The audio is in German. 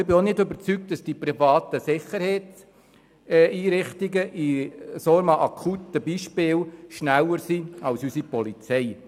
Ich bin auch nicht überzeugt, dass die privaten Sicherheitsdienstleister in solch einem akuten Beispiel schneller sind als unsere Polizei.